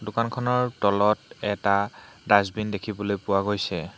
দোকানখনৰ তলত এটা ডাচবিন দেখিবলৈ পোৱা গৈছে।